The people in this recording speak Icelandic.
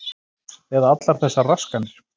Eða allar þessar raskanir.